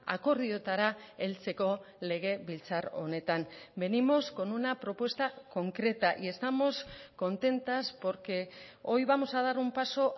akordioetara heltzeko legebiltzar honetan venimos con una propuesta concreta y estamos contentas porque hoy vamos a dar un paso